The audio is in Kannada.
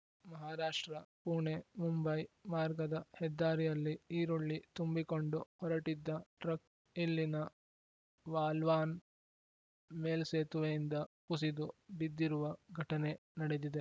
ಮಹಾರಾಷ್ಟ್ರ ಪುಣೆಮುಂಬೈ ಮಾರ್ಗದ ಹೆದ್ದಾರಿಯಲ್ಲಿ ಈರುಳ್ಳಿ ತುಂಬಿಕೊಂಡು ಹೊರಟಿದ್ದ ಟ್ರಕ್‌ ಇಲ್ಲಿನ ವಾಲ್ವಾನ್‌ ಮೇಲ್ಸೇತುವೆ ಯಿಂದ ಕುಸಿದು ಬಿದ್ದಿರುವ ಘಟನೆ ನಡೆದಿದೆ